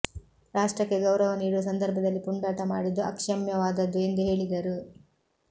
ರಾಷ್ಟ್ರಕ್ಕೆ ಗೌರವ ನೀಡುವ ಸಂದರ್ಭದಲ್ಲಿ ಪುಂಡಾಟ ಮಾಡಿದ್ದು ಅಕ್ಷಮ್ಯವಾದದ್ದು ಎಂದು ಹೇಳಿದರು